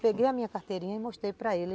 Peguei a minha carteirinha e mostrei para ele.